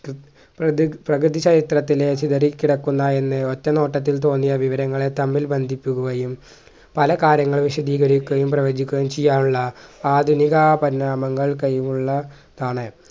പ്രതി പ്രകൃതി ചരിത്രത്തിലെ ചിതറിക്കിടക്കുന്ന എന്ന് ഒറ്റ നോട്ടത്തിൽ തോന്നിയ വിവരങ്ങളെ തമ്മിൽ ബന്ധിപ്പിക്കുകയും പല കാര്യങ്ങളും വിശധികരിക്കയും പ്രവചിക്കുകയും ചെയ്യാനുള്ള ആധുനികാ പരിണാമങ്ങൾ കഴിവുള്ള താണ്